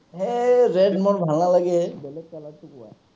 হেই, red মোৰ ভাল নালাগে। বেলেগ color টো কোৱা।